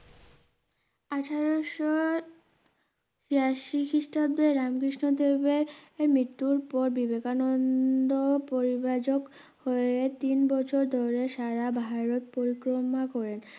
আঠেরোশো বিরাশি খ্রিস্টাব্দে রামকৃষ্ণদেবের মৃত্যুর পর বিবেকানন্দ পরিব্রাজক হয়ে তিনবছর ধরে সারাভারত পরিক্রমা করেন